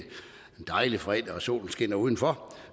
dejlig fredag og solen skinner udenfor